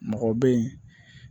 Mɔgɔ bɛ yen